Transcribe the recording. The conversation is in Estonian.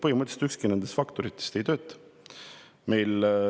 Põhimõtteliselt ükski nendest faktoritest ei tööta.